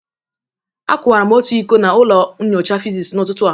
Akụwara m otu iko na ụlọ nyocha physics n'ụtụtụ a.